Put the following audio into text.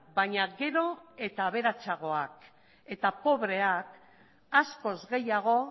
baina gero eta aberatsagoak eta pobreak askoz gehiago